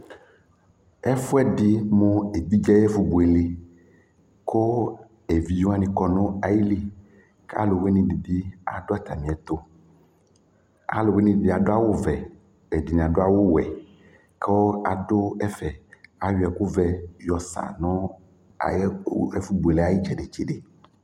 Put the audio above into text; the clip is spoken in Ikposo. Ɛfʋɛdɩ mʋ evidze ayʋ ɛfʋbuele kʋ evidze wanɩ kɔ nʋ ayili kʋ alʋwɩnɩ dɩ bɩ adʋ atamɩɛtʋ Alʋwɩnɩ dɩnɩ adʋ awʋvɛ, ɛdɩnɩ adʋ awʋwɛ kʋ adʋ ɛfɛ Ayɔ ɛkʋvɛ yɔsa nʋ ayɛ ɛfʋbuele yɛ ayʋ ɩtsɛdɩ-tsɛdɩ